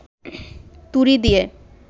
তুড়ি দিয়ে